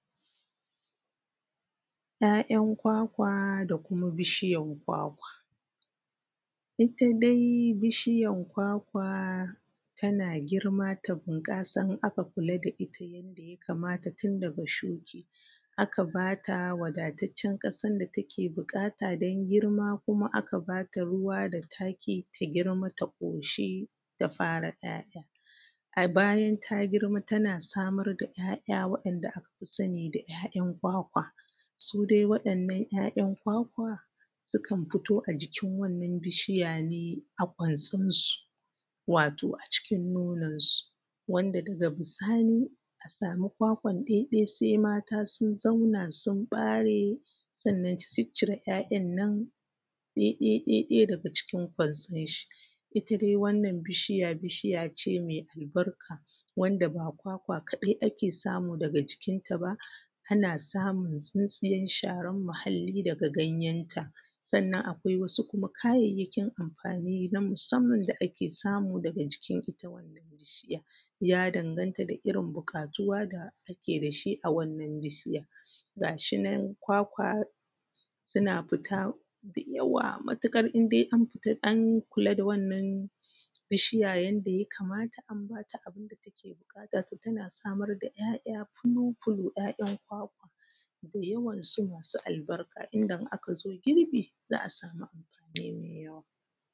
‘Ya’yan kwakwa da kuma bishyan kwakwa ita dai bishyan kwakwa tana girma ta bunƙasa in a ka kula da ita yanda ya kamata tun daga shuki aka ba ta wadatacen ƙasan da ta ke buƙata don girma kuma a ka ba ta ruwa da taki ta girma ta ƙoshuka ta fara ‘ya’ya a bayan ta girma tana samar da ‘ya’ya wa’inda a ka fi sani da ‘ya’yan kwakwa su dai waɗannan ‘ya’yan kwakwa sukan fito a jikin wannan bishiya ne a kwason su wato a cikin nononsu wanda daga bisani a samu kwakwan ɗai ɗai sai mata sun zauna sun ɓare sannan su cicire ‘ya’yan nan ɗai ɗai ɗai ɗai daga cikin kwanson shi ita dai wannan bishiya bishiya ce mai albarka wanda ba kwakwa kaɗai ake samu daga cikin ta ba ana samun tsintsiyan sharan muhalli daga wajenta ake sannan akwai wasu kuma ka:jajja:kin amfani na musamman da ake samu daga cikin ita wannan bishiyar ya danganta daga irin bukatuwa da ake da shi a wannan bishiya ga shi nan kwakwa suna fita da yawa matuƙar in dai an fitar an kula da wannan bishiya yanda ya kamata an bata abin da ta ke buƙata to ta na samar da ‘ya’yan fulufulu ‘ya’yan kwakwa dayawa su masu albarka inda in aka zo girbi za a samu abu mai yawa